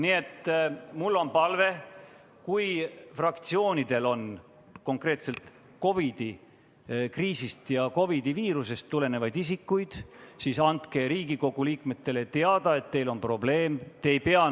Nii et mul on palve: kui fraktsioonidel on konkreetselt COVID‑i kriisist ja viirusest tulenevalt isikuid, siis andke Riigikogu liikmetele teada, et teil on probleem.